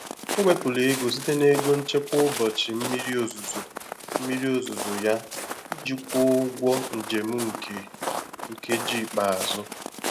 O wepụrụ ego site na ego nchekwa ụbọchị mmiri ozuzo mmiri ozuzo ya iji kwụọ ụgwọ njem nke nkeji ikpeazụ.